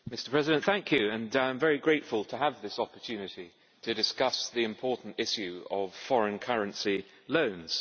Mr. President, I am very grateful to have this opportunity to discuss the important issue of foreign currency loans.